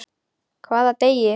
Hvaða degi?